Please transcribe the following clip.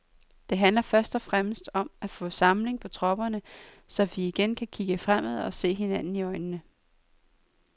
Det handler først og fremmest om at få samling på tropperne, så vi igen kan kigge fremad og se hinanden i øjnene.